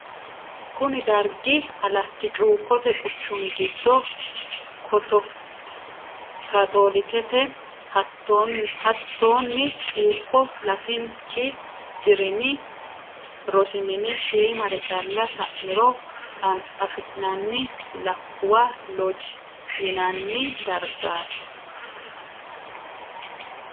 kuni dargi alatti cuukote quchumi giddo katolikete hattonni cuukko latinki dirimi rosi mine shiimare calla sa'niro afi'nanni lakkuwa looji yinanni dargati.